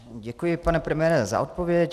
Děkuji, pane premiére, za odpověď.